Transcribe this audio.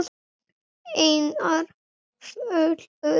Einar Falur.